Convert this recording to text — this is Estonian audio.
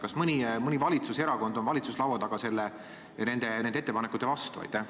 Kas mõni valitsuserakond on valitsuse laua taga nende ettepanekute vastu?